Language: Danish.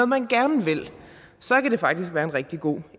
man gerne vil så kan det faktisk være en rigtig god